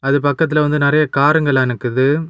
அது பக்கத்துல வந்து நெறைய காருங்கெல்லா நிக்குது.